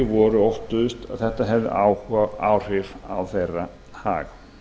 voru óttuðust að þetta hefði áhrif á hag þeirra